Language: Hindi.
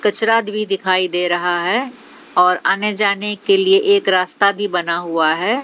भी दिखाई दे रहा है और आने जाने के लिए एक रास्ता भी बना हुआ है।